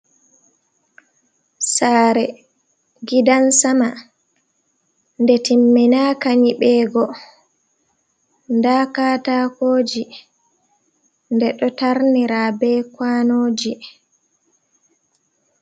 Sare gidan-sama nde timminaka nyibego. Nda katakoji nde ɗo tarnira be kanoji.